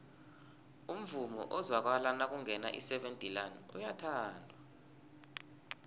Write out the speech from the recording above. umvumo ozwakala nakungena iseven delaan uyathandwa